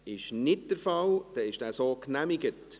– Das ist nicht der Fall, dann ist er so genehmigt.